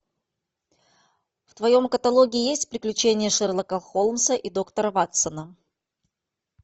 в твоем каталоге есть приключения шерлока холмса и доктора ватсона